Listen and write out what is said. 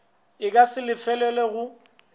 e ka se lefelelwe go